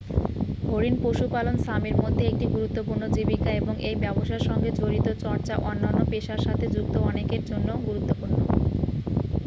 হরিণ পশুপালন সামির মধ্যে একটি গুরুত্বপূর্ণ জীবিকা এবং এই ব্যবসার সঙ্গে জড়িত চর্চা অন্যান্য পেশার সাথে যুক্ত অনেকের জন্য গুরুত্বপূর্ণ